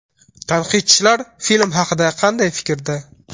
Tanqidchilar film haqida qanday fikrda?